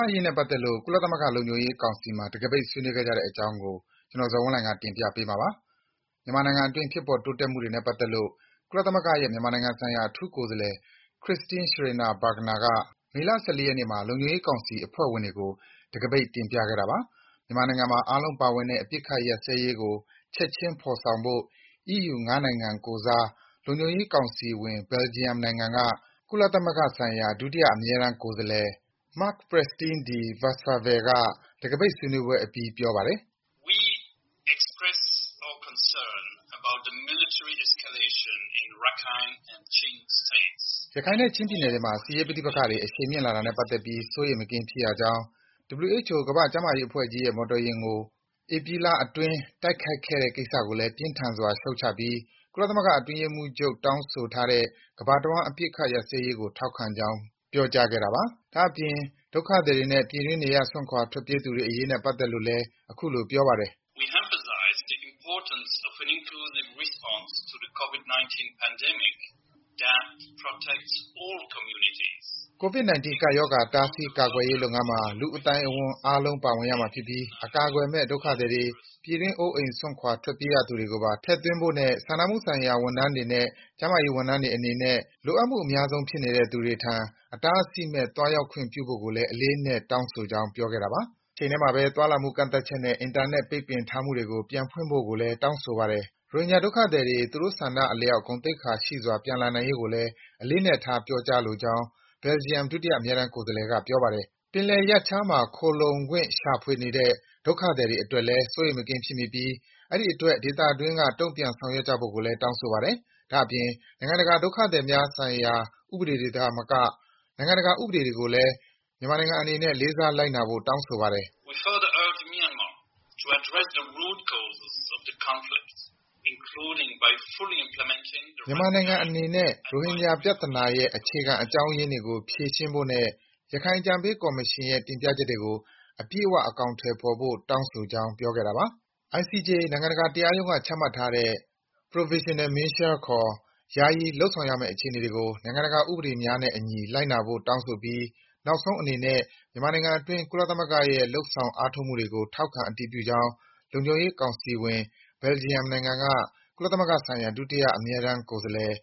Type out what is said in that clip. အရေးနဲ့ပတ်သက်လို့ ကုလသမဂ္ဂလုံခြုံရေးကောင်စီမှာ တံခါးပိတ် ဆွေးနွေးခဲ့ကြတဲ့ အကြောင်းကို ကိုဇော်ဝင်းလှိုင်က တင်ပြပေးမှာပါ။ မြန်မာနိုင်ငံအတွင်း ဖြစ်ပေါ်တိုးတက်မှုတွေနဲ့ ပတ်သက်လို့ ကုလသမဂ္ဂရဲ့ မြန်မာနိုင်ငံဆိုင်ရာ အထူးကိုယ်စားလှယ် Christine Schraner Burgener က မေလ ၁၄ ရက်နေ့မှာ လုံခြုံရေးကောင်စီ အဖွဲ့ဝင်တွေကို တံခါးပိတ် တင်ပြခဲ့တာပါ။ မြန်မာနိုင်ငံမှာ အားလုံးပါဝင်တဲ့ အပစ်အခတ်ရပ်စဲရေးကို ချက်ချင်းဖော်ဆောင်ဖို့ အီးယူ ၅ နိုင်ငံကိုယ်စား လုံခြုံရေးကောင်စီဝင် Belgium နိုင်ငံက ကုလသမဂ္ဂဆိုင်ရာ ဒုတိယ အမြဲတမ်းကိုယ်စားလှယ် Marc Pecsteen de Buytswerve က ဆွေးနွေးပွဲအပြီး ပြောပါတယ်။ “ရခိုင်နဲ့ချင်းပြည်နယ်တွေမှာ စစ်ရေးပဋိပက္ခတွေ အရှိန်မြင့်လာတာနဲ့ပတ်သက်ပြီး စိုးရိမ် မကင်းဖြစ်ရကြောင်း၊ WHO ကမ္ဘာ့ကျန်းမာရေးအဖွဲ့ကြီးရဲ့ မော်တော်ယာဉ်ကို ဧပြီအတွင်း တိုက်ခိုက်ခဲ့တဲ့ ကိစ္စကိုလည်း ပြင်းထန်စွာ ရှုတ်ချပြီး ကုလသမဂ္ဂအတွင်းရေးမှူးချုပ် တောင်းဆိုထားတဲ့ ကမ္ဘာ့တဝှမ်း အပစ်အခတ်ရပ်စဲရေးကို ထောက်ခံကြောင်း”ပြောကြားခဲ့တာပါ။ ဒါ့အပြင် ဒုက္ခသည်တွေနဲ့ ပြည်တွင်း နေရပ်စွန့်ခွာ ထွက်ပြေးရသူတွေအရေးနဲ့ ပတ်သက်လို့လည်း အခုလို ဆက်ပြောပါတယ်။ “COVID-19 ကပ်ရောဂါ တားဆီးကာကွယ်ရေးလုပ်ငန်းမှာ လူ့အသိုက်အဝန်း အားလုံး ပါဝင်ရမှာဖြစ်ပြီး အကာအကွယ်မဲ့ ဒုက္ခသည်တွေ၊ ပြည်တွင်း အိုးအိမ်စွန့်ခွာ ထွက်ပြေးနေရသူတွေကိုပါ ထည့်သွင်းဖို့နဲ့ စာနာမှုဆိုင်ရာ ဝန်ထမ်းတွေနဲ့ ကျန်းမာရေးဝန်ထမ်းတွေအနေနဲ့ လိုအပ်မှု အများဆုံး ဖြစ်နေတဲ့ လူတွေထံ အတားအဆီးမဲ့ သွားရောက်ခွင့်ပြုဖို့ကိုလည်း အလေးအနက်ထား တောင်းဆိုကြောင်း” ပြောခဲ့တာပါ။ တချိန်ထဲမှာဘဲ သွားလာမှု ကန့်သတ်ချက်နဲ့ အင်တာနက် ပိတ်ပင်ထားမှုတွေကို ပြန်ဖွင့်ပေးဖို့ကိုလည်း တောင်းဆိုပါတယ်။ ရိုဟင်ဂျာဒုက္ခသည်တွေ သူတို့ဆန္ဒအလျှောက် ဂုဏ်သိက္ခာရှိစွာ ပြန်လာနိုင်ရေးကိုလည်း အလေးအနက်ထား ပြောကြားလိုကြောင်း Belgium ဒုတိယ အမြဲတမ်းကိုယ်စားလှယ်က ပြောပါတယ်။ ပင်လယ်ရပ်ခြားမှာ ခိုလှုံခွင့်ရှာဖွေနေတဲ့ ဒုက္ခသည်တွေအတွက်လည်း စိုးရိမ်မကင်းဖြစ်မိပြီး အဲဒီအတွက် ဒေသတွင်းက တုံ့ပြန်ဆောင်ရွက်ကြဖို့လည်း တောင်းဆိုပါတယ်။ ဒါ့အပြင် နိုင်ငံတကာ ဒုက္ခသည်များဆိုင်ရာ ဥပဒေတွေသာမက နိုင်ငံတကာ ဥပဒေကိုလည်း လေးစားလိုက်နာဖို့လည်း တောင်းဆိုပါတယ်။ “ မြန်မာနိုင်ငံအနေနဲ့ ရိုဟင်ဂျာ ပြဿနာရဲ့ အခြေခံအကြောင်းရင်းတွေကို ဖြေရှင်းဖို့နဲ့ ရခိုင်အကြံပေးကော်မရှင်ရဲ့ တင်ပြချက်တွေကို အပြည့်အ၀ အကောင်အထည်ဖော်ဖို့ တောင်းဆိုကြောင်း”ပြောခဲ့တာပါ။ ICJ နိုင်ငံတကာတရားရုံးက ချမှတ်ထားတဲ့ Provisional Measures ခေါ် ယာယီလုပ်ဆောင်ရမယ့် အခြေအနေတွေကို နိုင်ငံတကာ ဥပဒေများနဲ့အညီ လိုက်နာဖို့ တောင်းဆိုပြီး နောက်ဆုံးအနေနဲ့ မြန်မာနိုင်ငံအတွင်း ကုလသမဂ္ဂရဲ့ လုပ်ဆောင် အားထုတ်မှုတွေကို ထောက်ခံ အတည်ပြုကြောင်း လုံခြုံရေးကောင်စီဝင် Belgium နိုင်ငံက ကုလသမဂ္ဂဆိုင်ရာ ဒုတိယ အမြဲတမ်းကိုယ်စားလှယ်